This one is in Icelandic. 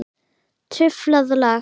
Truflað lag.